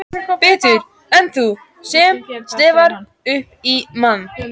Betur en þú sem slefar upp í mann.